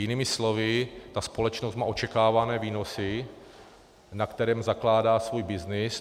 Jinými slovy ta společnost má očekávané výnosy, na kterých zakládá svůj byznys.